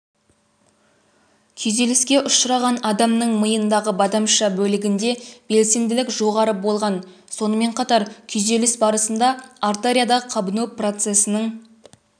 күйзеліске ұшыраған адамның миындағы бадамша бөлігінде белсенділік жоғарыболған сонымен қатар күйзеліс барысында артерияда қабыну процесінің